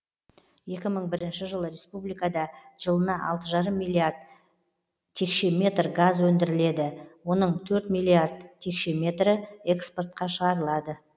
екі мың бірінші жылы республикада жылына алты жарым миллиард метр куб газ өндіріледі оның төрт миллиард метр кубі экспортқа шығарылады